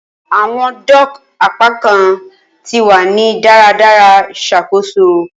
Awọn dock apakan ti wa ni daradara ṣakoso.